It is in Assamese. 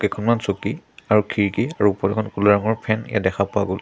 কেইখনমান চকী আৰু খিৰিকী আৰু ওপৰত এখন ক'লা ৰঙৰ ফেন ইয়াত দেখা পোৱা গ'ল।